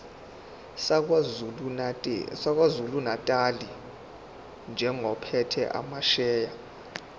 sakwazulunatali njengophethe amasheya